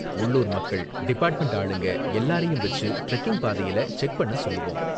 உள்ளூர் மக்கள், டிபார்ட்மெண்ட் ஆளுங்க எல்லாரையும் வெச்சு டிரெக்கிங் பாதையில செக் பண்ண சொல்லுவோம்.